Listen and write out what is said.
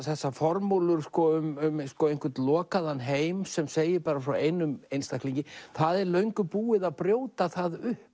þessar formúlur um einhvern lokaðan heim sem segir bara frá einum einstaklingi það er löngu búið að brjóta það upp